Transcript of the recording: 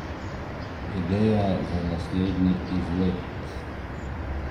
Ideja za naslednji izlet?